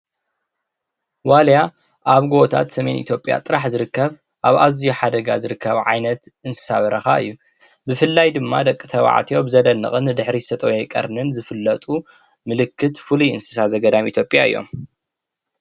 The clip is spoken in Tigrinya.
ዋልያ አብ ገቦታት ሰሜን ጥራሕ ዝርከብ እንስሳ በረኻ እዪ ብፍላይ ደቂ ተባዕትዮ ንድሕሪት ዝተጠወየ ቀርኒ ዝፍለጡ ምልክት ፍሉይ እንስሳ ዘገዳም እዮም።